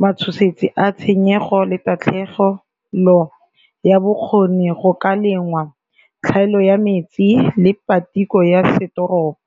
matshosetsi a tshenyego le tatlhegelo ya bokgoni go ka lengwa, tlhaelo ya metsi le patiko ya setoropo.